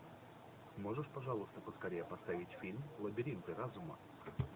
можешь пожалуйста поскорее поставить фильм лабиринты разума